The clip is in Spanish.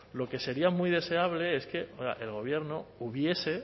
lo que sería muy deseable es que el gobierno hubiese